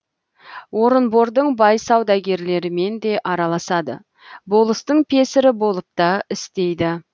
орынбордың бай саудагерлерімен де араласады болыстың песірі болып та істейді